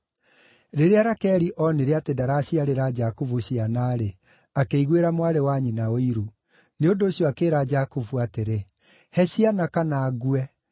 Rĩrĩa Rakeli onire atĩ ndaraciarĩra Jakubu ciana-rĩ, akĩiguĩra mwarĩ wa nyina ũiru. Nĩ ũndũ ũcio akĩĩra Jakubu atĩrĩ, “He ciana kana ngue!”